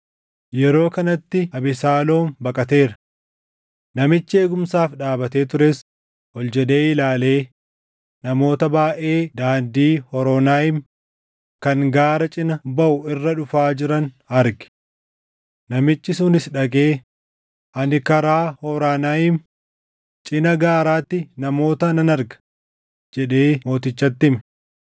Yeroo kanatti Abesaaloom baqateera. Namichi eegumsaaf dhaabatee tures ol jedhee ilaalee namoota baayʼee daandii Horonaayim kan gaara cina baʼu irra dhufaa jiran arge. Namichi sunis dhaqee, “Ani karaa Horonaayim, cina gaaraatti namoota nan arga” jedhee mootichatti hime.